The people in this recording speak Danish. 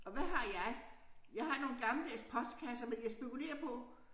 Og hvad har jeg jeg har nogle gammeldags postkasser men jeg spekulerer på